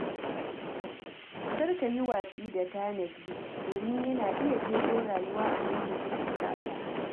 Kar ka yi watsi da tanadi, domin yana iya ceton rayuwa a lokacin bukata.